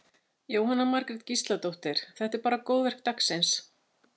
Jóhanna Margrét Gísladóttir: Þetta er bara góðverk dagsins?